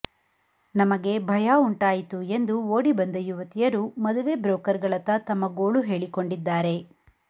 ನಮಗೆ ಭಯ ಉಂಟಾಯಿತು ಎಂದು ಓಡಿ ಬಂದ ಯುವತಿಯರು ಮದುವೆ ಬ್ರೋಕರ್ ಗಳತ್ತ ತಮ್ಮ ಗೋಳು ಹೇಳಿಕೊಂಡಿದ್ದಾರೆ